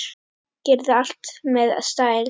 Gerði allt með stæl.